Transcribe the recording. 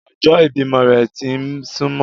Ọjọ́ ìbímọ rẹ̀ ti ń súmọ́